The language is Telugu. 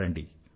రండి